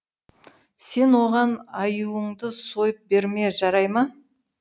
сен оған аюыңды сойып берме жарай ма